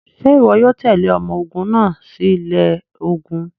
Ṣe iwọ yoo tẹle ọmọ ogun naa si ilẹ ogun?